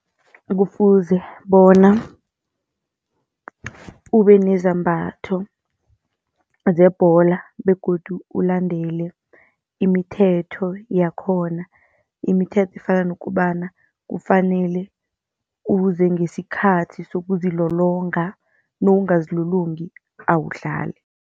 Kufuze bona ube nezambatho zebholo begodu ulandele imithetho yakhona, imithetho efana nokobana kufanele uze ngesikhathi sokuzilolonga nowungazilolongi awudlali.